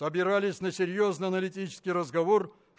собирались на серьёзно аналитический разговор